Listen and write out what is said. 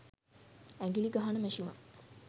ඇඟිලි ගහන මැෂිමක්